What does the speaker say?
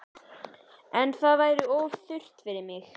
En það væri of þurrt fyrir mig